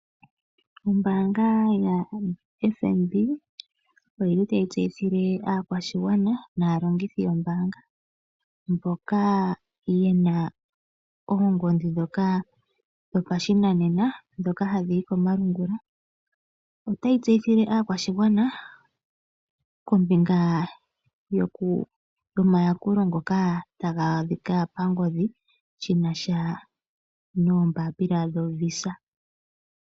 Ombaanga yaFNB oyili tayi tseyithile oshigwana naalongithi yombaanga mboka ye na oongodhi ndhoka dhopashinanena dhoka hadhi yi komalungula. Otayi tseyithile oshigwana kombinga yomayakulo ngoka taga adhika pangodhi shina sha noombaapila dho visa.